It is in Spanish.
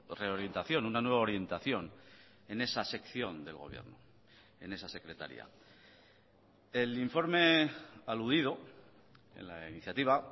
reorientación una nueva orientación en esa sección del gobierno en esa secretaría el informe aludido en la iniciativa